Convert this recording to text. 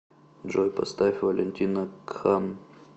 джой поставь валентино кхан